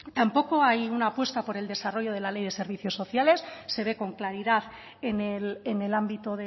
tampoco hay una apuesta por el desarrollo de la ley de servicios sociales se ve con claridad en el ámbito